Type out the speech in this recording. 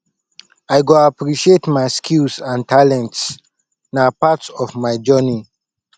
i go appreciate my skills and talents na part of my journey